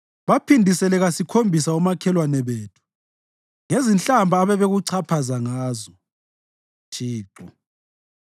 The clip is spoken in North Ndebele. Baphindisele kasikhombisa omakhelwane bethu ngezinhlamba ababekuchaphaza ngazo, Thixo.